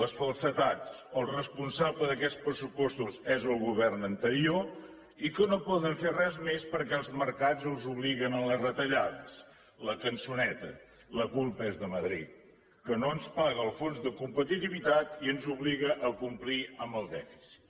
les falsedats el responsable d’aquests pressupostos és el govern anterior i que no poden fer res més perquè els mercats els obliguen a les retallades la cançoneta la culpa és de madrid que no ens paga el fons de competitivitat i ens obliga a complir amb el dèficit